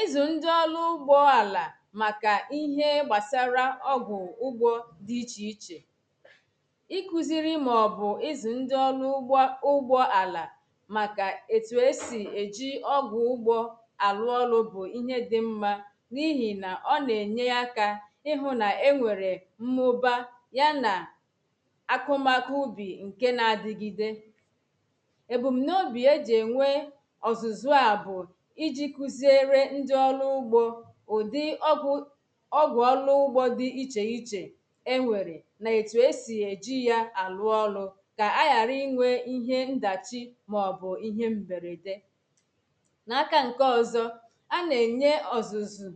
Ị̀zụ̀ ṅdi ọ̀lụ̀ ụgbo àlà màkà ihe gbasara ọ̀gwụ̀ ụ̀gbo di ìchē ichē Ịkụziri mọbụ i̇zụ ṅdi ọlụ ụ̀gbọ̄ ụ̀gbọ̄ àlà Màkà etu esi eji ọ̀gwụ̀ ụ̀gbo Alū ọ̀lụ̄ bụ ìhe dì m̀ma. N’ ìhì na ọ na-eṅyē àkà ìhụ̀ na-eṅwere M̀mụ̀ba ya na Akụ̀makụ̀ ụ̀bi ṅ̀ke na-adigide. Ebum n’ obi eji ēṅwé ọ̀zụ̀zụ̄ a bụ̀. Ìjì kụziere ǹdi ọ̀lụ̄ ụ̀gbo ụdi ọ̀gwụ̀ Ọ̀gwụ̀ ọ̀lụ̄ ụ̀gbọ di ìchē ìchē ēṅwērē na-etu esi ejì ya alụ̄ ọ̀lụ̀. ka àghàrà ìṅwe ìhe ṅ̀dachi mọ̀bụ ìhe m̀bērēdē. N’ àkà ṅke ọ̀zọ a na-eṅye ọ̀zụ̀zụ̄.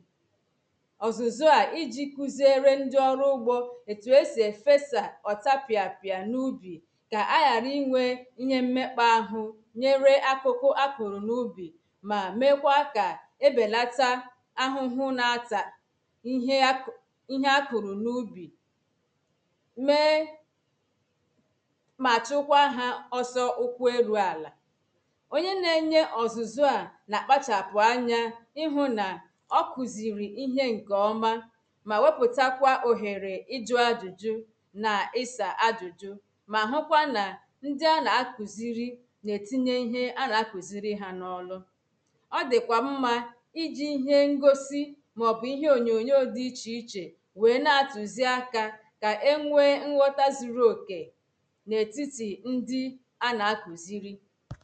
ọ̀zụ̄zụ̄ á iji kụziere ṅdi ọ̀rụ̄ ụ̀gbo. etu esi efesa ọ̀ta pia pia n’ụ̀bī ka àghàrà ìṅwe ìhe m̀mekpa àhụ̀ ṅyere akụ̀kụ̀ ákụ̀rụ̄ n’ụbī ma mekwa ka ēbēlàta àhụ̄hụ̄ na-atā ìhe àk ìhe àkụ̀rụ̀ n’ụ̀bī mee Ma chụkwa ha ọ̀sọ ụ̀kwụ eru àlā. oṅye na-eṅye ọ̀zụ̀zụ̀ a na-akpachapụ aṅya ìhụ na ọ̀ kụziri ìhe ṅ̀ke ọ̀ma ma wepụtakwa ohērē ijụ ajụjụ na ìsa àjụjụ̄ Ma hụkwa na ǹdi ànà àkụzirì. na-etiṅyē ihe ànà àkụzirì ha n’ ọ̀lụ̀ Ọ̀ dikwa m̀ma ij̀ì ìhe ṅ̀gosi Mọbụ ihe oṅyoṅyo di ìche ìche Wee na-atụzi àka ka eṅwe ṅ̀ghọ̀tà zuru oke. Na-etiti ndi ànà àkụ̀zīrī.